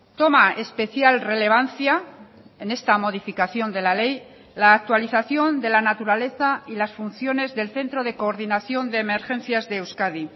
toma especial relevancia en esta modificación de la ley la actualización de la naturaleza y las funciones del centro de coordinación de emergencias de euskadi